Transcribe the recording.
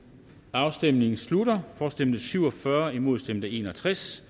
afstemningen slutter for stemte syv og fyrre imod stemte en og tres